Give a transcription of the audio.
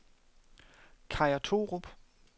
Kaja Thorup